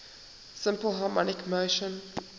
simple harmonic motion